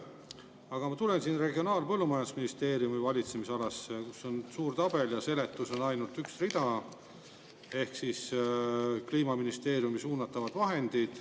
Aga ma tulen Regionaal- ja Põllumajandusministeeriumi valitsemisalasse, kus on suur tabel ja seletusi on ainult, mis puudutab Kliimaministeeriumist suunatavaid vahendeid.